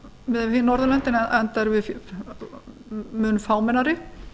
miðað við hin norðurlöndin enda erum við mun fámennari